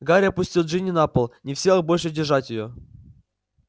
гарри опустил джинни на пол не в силах больше держать её